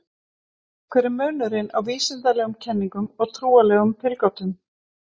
Hver er munurinn á vísindalegum kenningum og trúarlegum tilgátum?